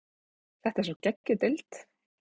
Þetta er svo geggjuð deild.